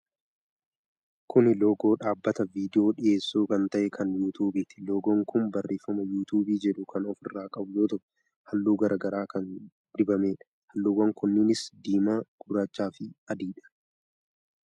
Kun loogoo dhaabbata viidiyoo dhiyyeessu kan ta'e kan Yuutuubiti. Loogoon kun barreeefama Yuubuubii jedhu kan ofirraa qabu yoo ta'u, halluu garaa garaa kan dibameedha. Halluuwwan kunneenis diimaa, gurraacha fi adiidha.